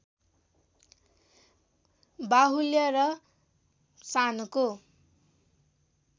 बाहुल्य र शानको